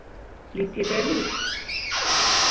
Lít ég vel út?